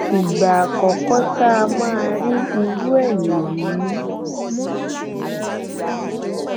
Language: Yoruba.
ìgbà àkọkọ tá a máa rí irú ẹ nìyí